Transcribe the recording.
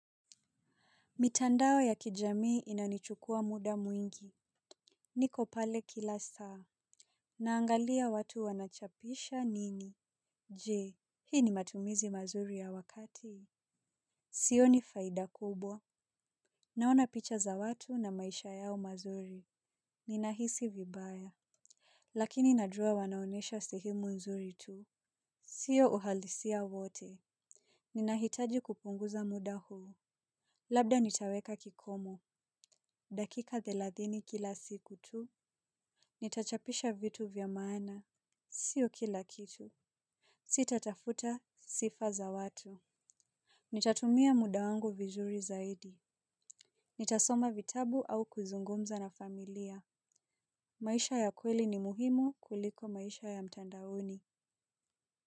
Mitandao ya kijamii inanichukua muda mwingi. Niko pale kila saa. Naangalia watu wanachapisha nini. Je, hii ni matumizi mazuri ya wakati. Sio ni faida kubwa. Naona picha za watu na maisha yao mazuri. Ninahisi vibaya. Lakini najua wanaonyesha sehemu nzuri tu. Sio uhalisia wote. Ninahitaji kupunguza muda huu. Labda nitaweka kikomo. Dakika thelathini kila siku tu. Nitachapisha vitu vyamaana. Sio kila kitu. Sitatafuta sifa za watu. Nitatumia mudawangu vizuri zaidi. Nitasoma vitabu au kuzungumza na familia. Maisha ya kweli ni muhimu kuliko maisha ya mtandaoni.